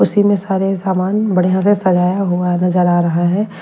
उसी में सारे सामान बढ़िया से सजाया हुआ नजर आ रहा है।